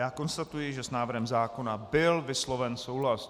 Já konstatuji, že s návrhem zákona byl vysloven souhlas.